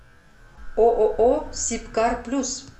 ооо сибкар плюс